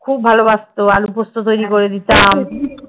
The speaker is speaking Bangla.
খুব ভালোবাসতো আলোপুস্ত তৈরী করে দিতাম।